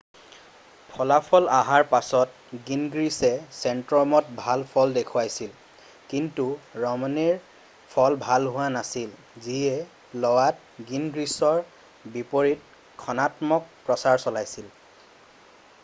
ফলাফল অহাৰ পাছত গিনগ্ৰিছে ছেনট্ৰমত ভাল ফল দেখুৱাইছিল কিন্তু ৰমনেৰ ফল ভাল হোৱা নাছিল যিয়ে ল'ৱাত গিনগ্ৰিছৰ বিপৰীতে ঋণাত্মক প্ৰচাৰ চলাইছিল